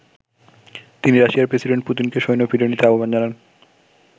তিনি রাশিয়ার প্রেসিডেন্ট পুতিনকে সৈন্য ফিরিয়ে নিতে আহবান জানান।